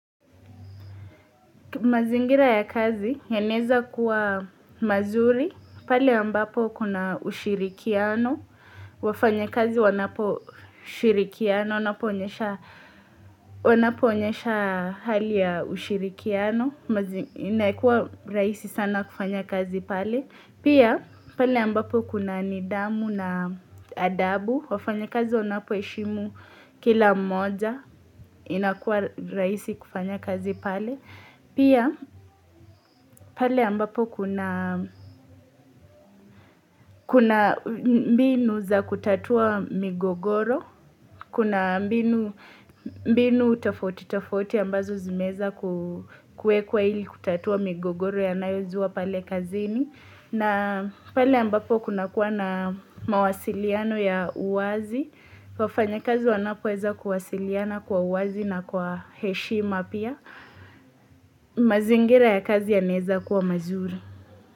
Mazingira ya kazi yanaweza kuwa mazuri, pale ambapo kuna ushirikiano, wafanya kazi wanapo shirikiana, wanapo onyesha hali ya ushirikiano, inaikuwa raisi sana kufanya kazi pale. Pia pale ambapo kuna nidhamu na adabu, wafanya kazi wanapo eshimu kila mmoja, inakua raisi kufanya kazi pale. Pia pale ambapo kuna mbinu za kutatua migogoro, kuna mbinu tofauti tofauti ambazo zimeweza kuekwa ili kutatua migogoro inayozua pale kazini. Na pale ambapo kuna kuwa na mawasiliano ya uwazi, wafanya kazi wanapoweza kuwasiliana kwa uwazi na kwa heshima pia, mazingira ya kazi ya naweza kuwa mazuri.